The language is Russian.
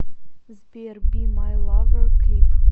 сбер би май лавер клип